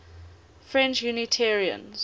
french unitarians